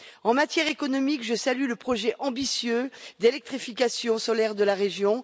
En matière économique, je salue le projet ambitieux d'électrification solaire de la région.